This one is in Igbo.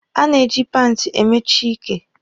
A na-eji paanti emechi ike.